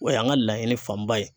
O y'an ka laɲini fanba ye